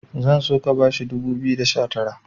zan so ka bashi dubu biyu da sha Tara